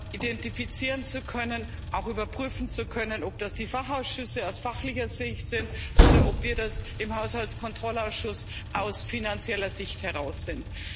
identifizieren und auch überprüfen zu können ob das die Fachausschüsse aus fachlicher Sicht sind oder ob wir das im Haushaltskontrollausschuss aus finanzieller Sicht heraus sind.